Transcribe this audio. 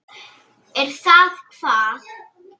Er það hvað.